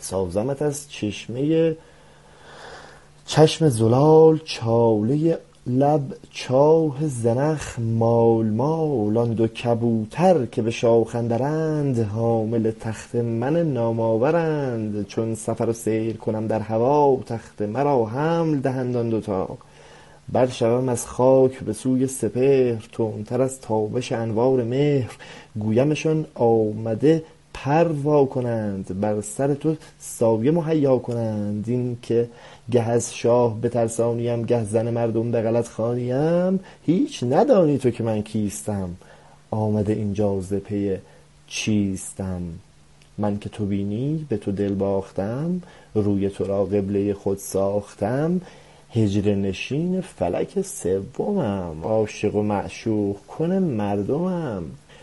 سازمت از چشمۀ چشم زلال چالۀ لب چاه زنخ مال مال آن دو کبوتر که به شاخ اندرند حامل تخت من نام آورند چون سفر و سیر کنم در هوا تخت مرا حمل دهند آن دو تا پر کشم از خاک به سوی سپهر تندتر از تابش انوار مهر گویمشان آمده پر وا کنند بر سر تو سایه مهیا کنند این که گه از شاه بترسانیم گه زن مردم به غلط خوانیم هیچ ندانی تو که من کیستم آمده این جا ز پی چیستم من که تو بینی به تو دل باختم روی ترا قبلۀ خود ساختم حجله نشین فلک سومم عاشق و معشوق کن مردمم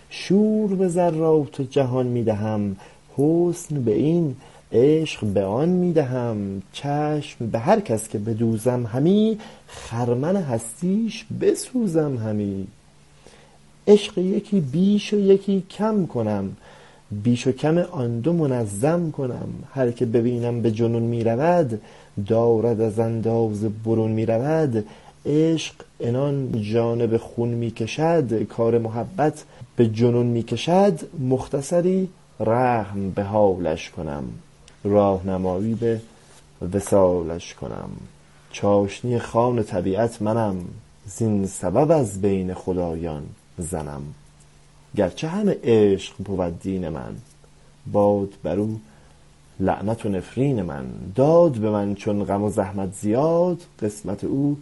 شور به ذرات جهان می دهم حسن به این عشق به آن می دهم چشم به هر کس که بدوزم همی خرمن هستیش بسوزم همی عشق یکی بیش و یکی کم کنم بیش و کم آن دو منظم کنم هرکه ببینم به جنون می رود دارد از اندازه برون می رود عشق عنان جانب خون می کشد کار محبت به جنون می کشد مختصری رحم به حالش کنم راه نمایی به وصالش کنم چاشنی خوان طبیعت منم زین سبب از بین خدایان زنم گرچه همه عشق بود دین من باد بر او لعنت و نفرین من داد به من چون غم و زحمت زیاد قسمت او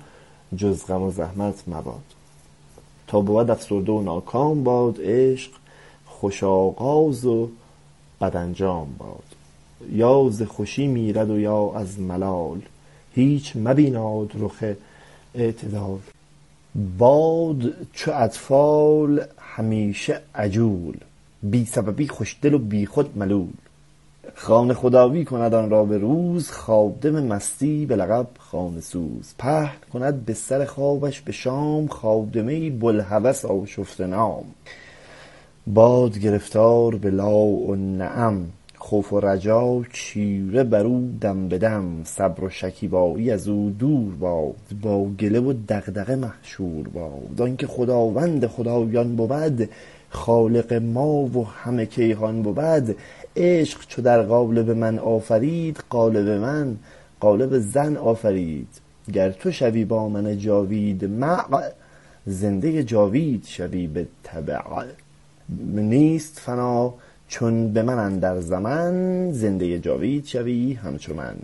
جز غم و زحمت مباد تا بود افسرده و ناکام باد عشق خوش آغاز و بد انجام باد یا ز خوشی میرد و یا از ملال هیچ مبیناد رخ اعتدال باد چو اطفال همیشه عجول بی سببی خوش دل و بی خود ملول خانه خدایی کند آن را به روز خادم مستی به لقب خانه سوز پهن کند بستر خوابش به شام خادمه ای بوالهوس آشفته نام باد گرفتار به لا و نعم خوف و رجا چیره بر او دم به دم صبر و شکیبایی ازو دور باد با گله و دغدغه محشور باد آن که خداوند خدایان بود خالق ما و همه کیهان بود عشق چو در قالب من آفرید قالب من قالب زن آفرید گر تو شوی با من جاوید مع زندۀ جاوید شوی بالتبع نیست فنا چون به من اندر ز من زندۀ جاوید شوی همچو من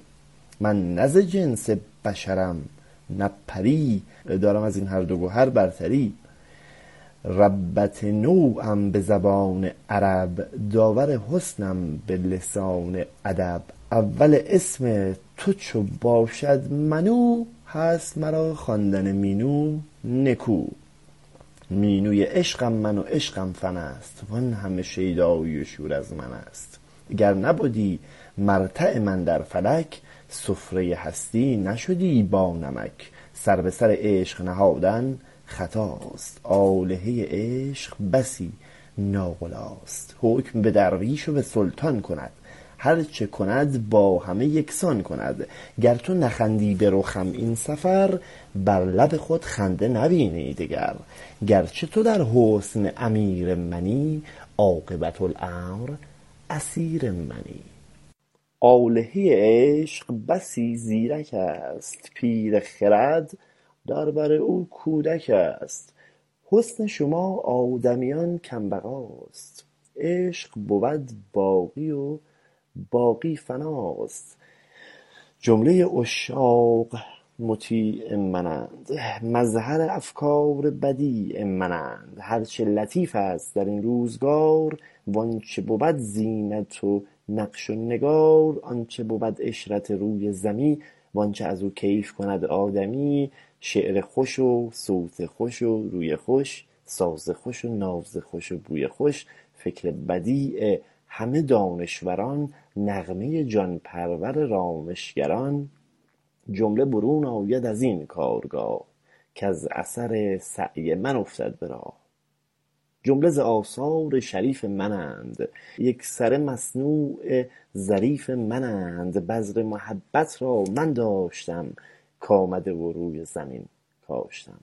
من نه ز جنس بشرم نه پری دارم از این هر دو گهر برتری ربه نوعم به زبان عرب داور حسنم به لسان ادب اول اسم تو چو باشد منو هست مرا خواندن مینو نکو مینوی عشقم من و عشقم فن است وان همه شیدایی و شور از من است گر نبدی مرتع من در فلک سفرۀ هستی نشدی با نمک سر به سر عشق نهادن خطاست آلهه عشق بسی ناقلاست حکم به درویش و به سلطان کند هرچه کند با همه یک سان کند گر تو نخندی به رخم این سفر بر لب خود خنده نبینی دگر گرچه تو در حسن امیر منی عاقبه الامر اسیر منی آلهۀ عشق بسی زیرک است پیر خرد در بر او کودک است حسن شما آدمیان کم بقاست عشق بود باقی و باقی فناست جملۀ عشاق مطیع من اند مظهر افکار بدیع من اند هرچه لطیف است در این روزگار وانچه بود زینت و نقش و نگار آنچه بود عشرت روی زمی وانچه از او کیف کند آدمی شعر خوش و صوت خوش و روی خوش ساز خوش و ناز خوش و بوی خوش فکر بدیع همه دانشوران نغمۀ جان پرور رامش گران جمله برون آید از این کارگاه کز اثر سعی من افتد به راه جمله ز آثار شریف من اند یکسره مصنوع ظریف من اند بذر محبت را من داشتم کامده و روی زمین کاشتم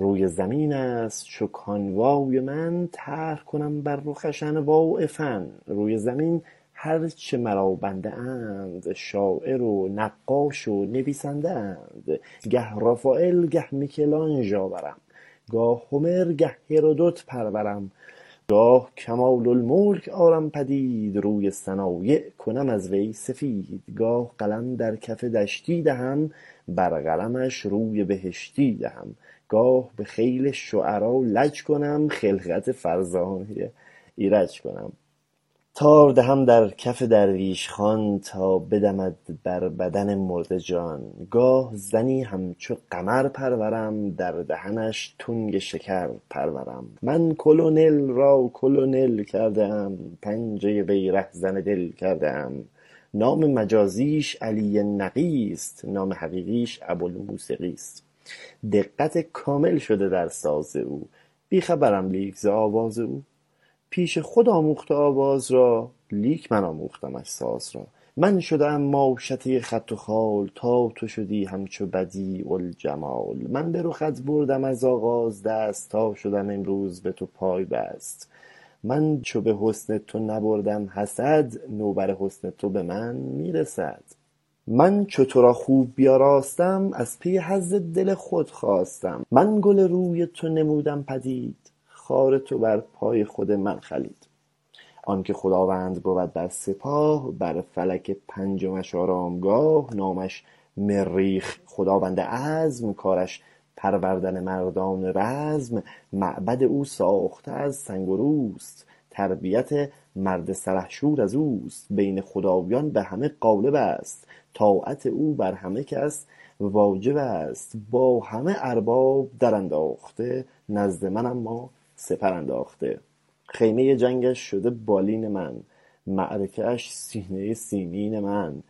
روی زمین است چو کانوای من طرح کنم بر رخش انواع فن روی زمین هرچه مرا بنده اند شاعر و نقاش و نویسند ه اند گه رافایل گه میکلانژ آورم گاه هومر گه هرودت پرورم گاه کمال الملک آرم پدید روی صنایع کنم از وی سفید گاه قلم در کف دشتی دهم بر قلمش روی بهشتی دهم گاه به خیل شعرا لج کنم خلقت فرزانۀ ایرج کنم تار دهم در کف درویش خان تا بدهد بر بدن مرده جان گاه زنی همچو قمر پرورم در دهنش تنگ شکر پرورم من کلنل را کلنل کرده ام پنجۀ وی رهزن دل کرده ام نام مجازیش علی نقی است نام حقیقیش ابوالموسقی است دقت کامل شده در ساز او بی خبرم لیک ز آواز او پیش خود آموخته آواز را لیک من آموختمش ساز را من شده ام ماشطۀ خط و خال تا تو شدی همچو بدیع الجمال من به رخت بردم از آغاز دست تا شدم امروز به تو پای بست من چو به حسن تو نبردم حسد نوبر حسن تو به من می رسد من چو ترا خوب بیاراستم از پی حظ دل خود خواستم من گل روی تو نمودم پدید خار تو بر پای خود من خلید آن که خداوند بود بر سپاه بر فلک پنجمش آرامگاه نامش مریخ خداوند عزم کارش پروردن مردان رزم معبد او ساخته از سنگ وروست تربیت مرد سلحشور از اوست بین خدایان به همه غالب است طاعت او بر همه کس واجب است با همه ارباب در ا نداخته نزد من اما سپر انداخته خیمۀ جنگش شده بالین من معرکه اش سینۀ سیمین من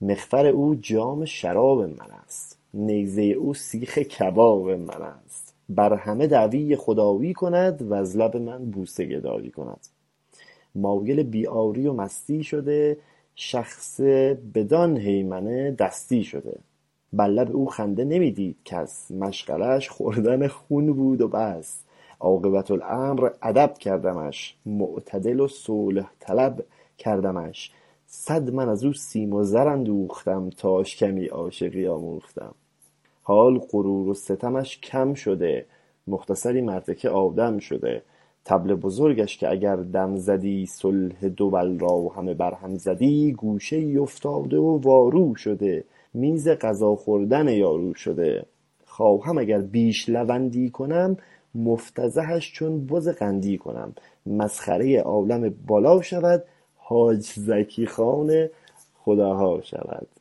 مغفر او جام شراب من است نیزۀ او سیخ کباب من است بر همه دعوی خدایی کند وز لب من بوسه گدایی کند مایل بی عاری و مستی شده شخص بدان هیمنه دستی شده بر لب او خنده نمی دید کس مشغله اش خوردن خون بود و بس عاقبت الامر ادب کردمش معتدل و صلح طلب کردمش صد من از او سیم و زر اندوختم تاش کمی عاشقی آموختم حال غرور و ستمش کم شده مختصری مرد که آدم شده طبل بزرگش که اگر دم زدی صلح دول را همه بر هم زدی گوشه ای افتاده و وارو شده میز غذا خوردن یارو شده خواهم اگر بیش لوندی کنم مفتضحش چون بز قندی کنم مسخرۀ عالم بالا شود حاج زکی خان خداها شود